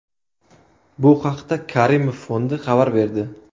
Bu haqda Karimov fondi xabar berdi.